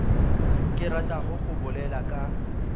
ke ratago go bolela ka